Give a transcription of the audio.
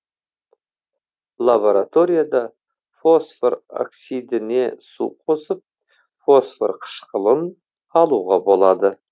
лабораторияда фосфор оксидіне су қосып фосфор кышкылын алуға болады